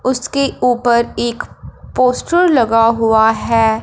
उसके ऊपर एक पोस्टर लगा हुआ हैं।